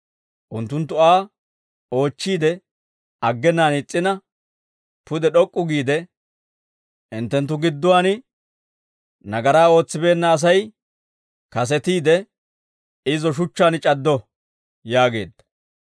Unttunttu Aa oochchiide aggenaan is's'ina, pude d'ok'k'u giide, «Hinttenttu gidduwaan nagaraa ootsibeenna Asay kasetiide, izo shuchchaan c'addo» yaageedda.